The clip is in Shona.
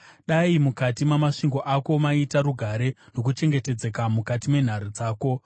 Dai mukati mamasvingo ako maita rugare, nokuchengetedzeka mukati menhare dzako.”